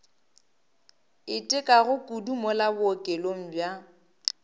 itekago kudu mola bookelong bja